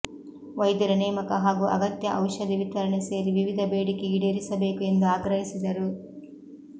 ವೈದ್ಯರ ನೇಮಕ ಹಾಗೂ ಅಗತ್ಯ ಔಷಧಿ ವಿತರಣೆ ಸೇರಿ ವಿವಿಧ ಬೇಡಿಕೆ ಈಡೇರಿಸಬೇಕು ಎಂದು ಆಗ್ರಹಿಸಿದರು